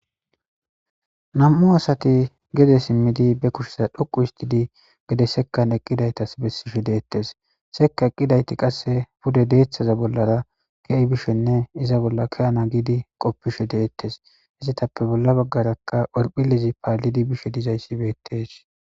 nam7u asati gede simmidi be kushesa dhuqu istidi gede sekkan eqqidaytas bessishe deettes seka eqqidayti qasse pude deeththaza bollara ke7i bishenne iza bolla ke7ana giidi qoppishe deettes izitappe bolla baggarakka orphilezi paallidi bishe dizayssi beettes